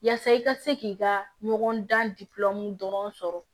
Yaasa i ka se k'i ka ɲɔgɔndan dɔrɔn sɔrɔ